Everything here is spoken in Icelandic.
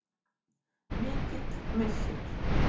Mikill missir.